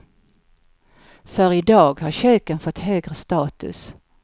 För idag har köken fått högre status.